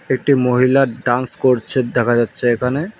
একটি মহিলা ডান্স করছে দেখা যাচ্ছে এখানে।